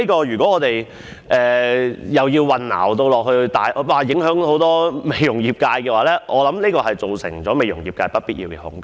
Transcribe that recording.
若我們就此產生混淆，會大為影響美容業界，造成業界不必要的恐懼。